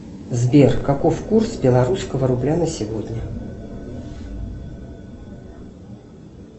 сбер каков курс белорусского рубля на сегодня